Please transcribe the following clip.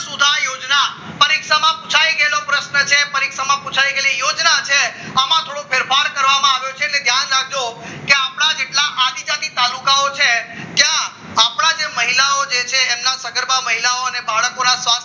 પરીક્ષામાં પુછાઇ ગયેલો પ્રશ્ન છે પરીક્ષામાં પુછાઈ ગયેલી યોજના છે આવા થોડો ફેરફાર કરવામાં આવ્યો છે તે ધ્યાન રાખજો કે આપણા જેટલા આદિજાતિ તાલુકાઓ છે ત્યાં આપણા જે મહિલાઓ છે એમના સગર્ભા મહિલાઓને બાળ ખોરાક